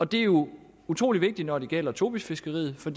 det er jo utrolig vigtigt når det gælder tobisfiskeriet for